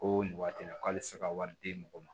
Ko nin waati la k'ale tɛ se ka wari di mɔgɔ ma